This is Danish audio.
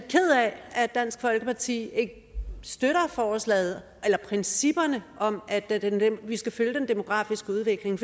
at dansk folkeparti ikke støtter forslaget eller principperne om at vi skal følge den demografiske udvikling